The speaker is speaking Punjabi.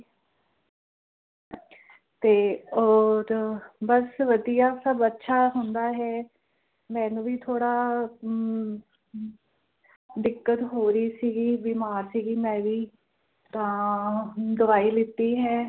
ਤੇ ਓਰ ਬਸ ਵਧੀਆ ਸਬ ਅੱਛਾ ਹੁੰਦਾਂ ਹੈਂ ਮੈਨੂੰ ਵੀ ਥੋੜ੍ਹਾ ਹਮ ਦਿਕੱਤ ਹੋ ਰਹੀ ਸੀ ਗੀ ਬੀਮਾਰ ਸੀ ਗੀ ਮੈਂ ਵੀ ਤਾ ਹੁਣ ਦਵਾਈ ਲਿੱਤੀ ਹੈਂ